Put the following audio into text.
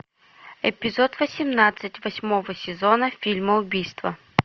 эпизод восемнадцать восьмого сезона фильма убийство